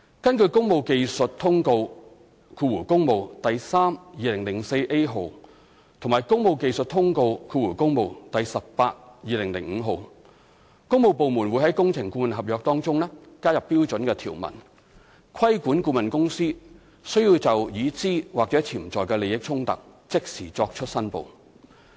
根據《工務技術通告第 3/2004A 號》和《工務技術通告第 18/2005 號》，工務部門會在工程顧問合約中加入標準條文，規管顧問公司須就已知或潛在的利益衝突即時作出申報。